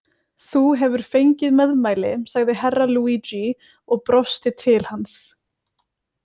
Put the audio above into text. Þú hefur fengið meðmæli, sagði Herra Luigi og brosti til hans.